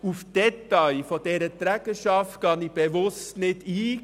Auf die Details dieser Trägerschaft gehe ich bewusst nicht ein.